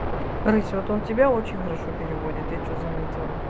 рысь вот он тебя очень хорошо переводит я что заметил